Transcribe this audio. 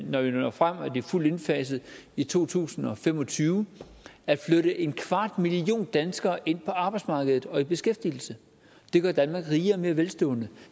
når vi når frem og de er fuldt indfaset i to tusind og fem og tyve at flytte en kvart million danskere ind på arbejdsmarkedet og i beskæftigelse det gør danmark rigere og mere velstående